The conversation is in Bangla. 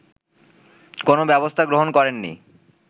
কোনো ব্যবস্থা গ্রহণ করেননি